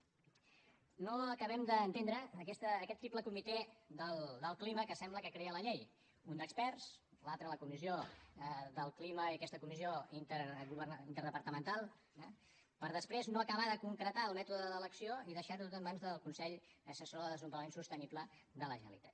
no acabem d’entendre aquest triple comitè del clima que sembla que crea la llei un d’experts l’altre la comissió del clima i aquesta comissió interdepartamental eh per després no acabar de concretar el mètode d’elecció i deixarho tot en mans del consell assessor per al desenvolupament sostenible de la generalitat